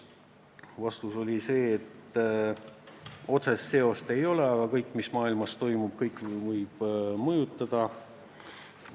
Vastus oli, et otsest seost ei ole, aga kõik, mis maailmas toimub, võib meidki mõjutada.